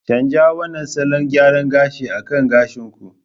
Canja wannan salon gyara gashi akan gashin ku!